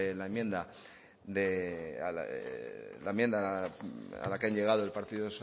de la enmienda a la que han llegado el partido